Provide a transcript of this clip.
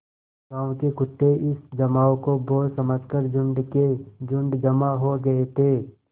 गाँव के कुत्ते इस जमाव को भोज समझ कर झुंड के झुंड जमा हो गये थे